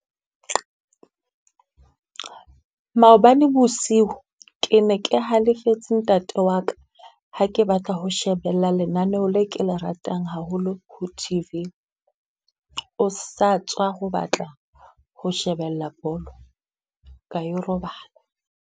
Maobane bosiu ke ne ke halefetse ntate wa ka. Ha ke batla ho shebella lenaneo le ke le ratang haholo ho T_V. O sa tswa ho batla ho shebella bolo. ka yo robala.